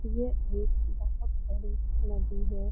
यह एक बहोत बड़ी नदी है।